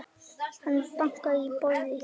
Hann bankar í borðið.